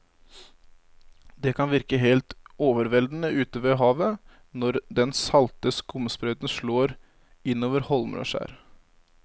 Det kan virke helt overveldende ute ved havet når den salte skumsprøyten slår innover holmer og skjær.